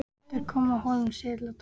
Þeir komu að Hólum síðla dags.